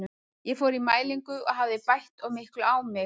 Ég fór í mælingu og hafði bætt of miklu á mig.